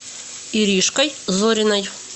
иришкой зориной